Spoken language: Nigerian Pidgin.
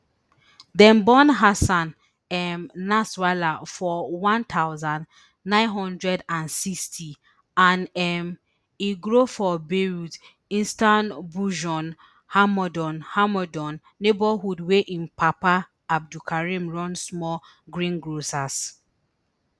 dem born hassan um nasrallah for one thousand, nine hundred and sixty and um e grow for beirut eastern hammoud hammoud neighbourhood wia im papa abdul karim run small green grocers